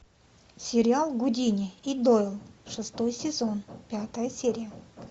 сериал гудини и дойл шестой сезон пятая серия